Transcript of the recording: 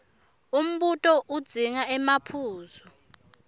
umbuto udzinga emaphuzu